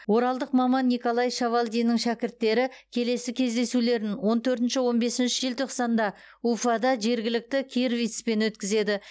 оралдық маман николай шавалдиннің шәкірттері келесі кездесулерін он төртінші он бесінші желтоқсанда уфада жергілікті кирвицпен өткізеді